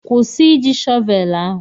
Kwụsị Ị ji shọvelu ahụ!